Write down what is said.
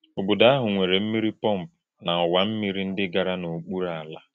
Ọ̀bòdò̄ àhụ̄ nwèrè̄ m̀mí̄rì pọ́mpụ̀ na ọ̀wà̄ m̀mí̄rì ndị́ gàrà̄ n’ọ̀kpùrù̄ àlà̄.